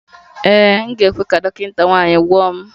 Ee, m ga-ekwe ka dọkịta nwanyị gwọọ m